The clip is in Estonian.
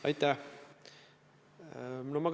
Aitäh!